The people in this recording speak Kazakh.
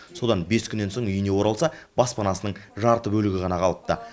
содан бес күннен соң үйіне оралса баспанасының жарты бөлігі ғана қалыпты